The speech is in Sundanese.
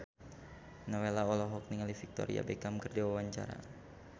Nowela olohok ningali Victoria Beckham keur diwawancara